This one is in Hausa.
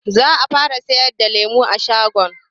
Za a fara sayar da lemu a shagon.